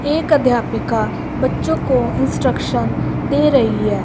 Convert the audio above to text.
एक अध्यापिका बच्चों को इंस्ट्रक्शन दे रही है।